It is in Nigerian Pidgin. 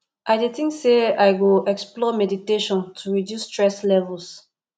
i dey think say i go explore meditation to reduce stress levels